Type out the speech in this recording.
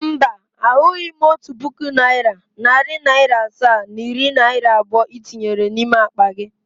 Mba, ahụghị m otu puku naịra, nari naira asaa na iri naira abụọ i tinyere n’ime akpa gị